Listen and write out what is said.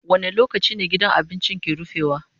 Wane lokaci ne gidan abincin ke rufewa?